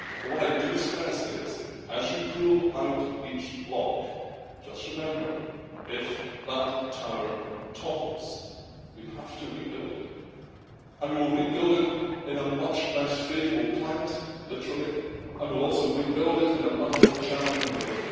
But what I do stress is as you pull out each block, just remember if that tower topples, we have to rebuild it and we will rebuild it in a much less favourable climate, literally, and will also rebuild it in a much more challenging way.